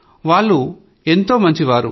వాళ్లు ఎంతో మంచివాళ్లు